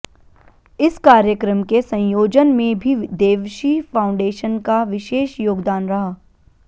इस कार्यक्रम के संयोजन में भी देवशी फाउंडेशन का विशेष योगदान रहा